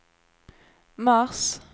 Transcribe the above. mars